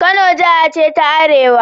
Kano Jiha ce ta Arewa